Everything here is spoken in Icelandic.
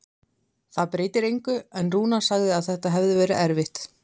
Það breytir engu, en Rúnar sagði að þetta hefði verið erfitt.